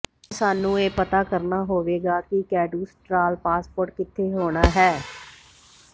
ਅੱਜ ਸਾਨੂੰ ਇਹ ਪਤਾ ਕਰਨਾ ਹੋਵੇਗਾ ਕਿ ਕੈਡਸਟ੍ਰਾਅਲ ਪਾਸਪੋਰਟ ਕਿੱਥੇ ਹੋਣਾ ਹੈ